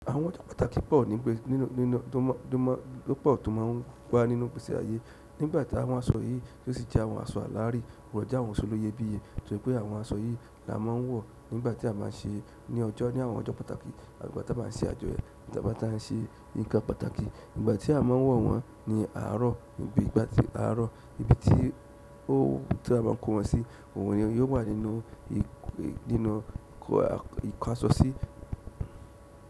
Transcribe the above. Àwọn ọjọ́ pàtàkì pọ̀ tó má ń wá nínú igbèsè àyé nígbàtí àwọn aṣọ yìí tí ó sì jẹ́ àwọn aṣọ alárìí won jẹ àwọn aṣọ olówó iyebiye torípé àwọn aṣọ yìí la má ń wọ̀ nígbàtí a má ń ṣe ní ọjọ́ ní àwọn ọjọ́ pàtàkì àti ìgbà tí a má ń ṣe àjọyọ̀ tí a ba ń ṣe nǹkan pàtàkì nígbà tí a má ń wọ̀ wọ́n ní àárọ̀ níbi ìgbà tí àárọ̀ níbi tí ó tí a má ń kó wọn sí ohun ni yóò wà nínú ìkọ̀ àṣọsí.